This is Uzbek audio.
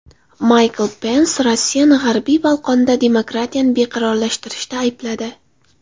Maykl Pens Rossiyani G‘arbiy Bolqonda demokratiyani beqarorlashtirishda aybladi.